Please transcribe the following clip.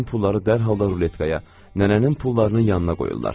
Həmin pulları dərhal da ruletkaya, nənənin pullarının yanına qoyurdular.